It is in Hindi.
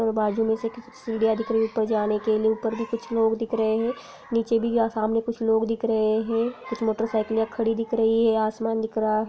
बाजू में से की सीढ़ियाँ दिख रही है ऊपर जाने के लिए। ऊपर भी कुछ लोग दिख रहे हैं नीचे भी यहाँ कुछ सामने लोग दिख रहे हैं। कुछ मोटरसाइकिले खड़ी दिख रही है। असमान दिख रहा है।